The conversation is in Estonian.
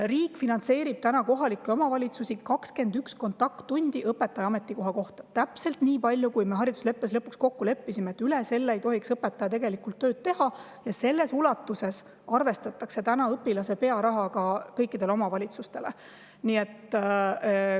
Riik finantseerib täna 21 kontakttundi õpetaja ametikoha kohta – täpselt nii palju, kui me haridusleppes lõpuks kokku leppisime, üle selle ei tohiks õpetaja tegelikult tööd teha – ja selles ulatuses arvestatakse õpilase pearaha kõikidele omavalitsustele.